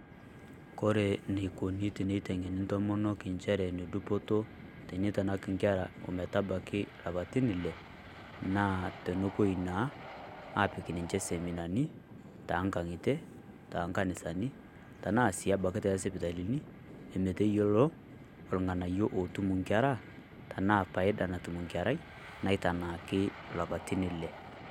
Kore neikuni teneiteng'eni ntomonok inchere nedupoto teneitanak inkera ometabaki lapaitin ile, naa tenepuoi naa apik ninche seminani tongang'itie, tonkanisani, tenaa sii abaki tosipitalini, emeteyiolo olng'anayio ootum inkera tenaa paida naatum nkerai naitanaaki lapaitin ile.